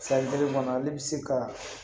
San kelen kɔnɔ ale bi se ka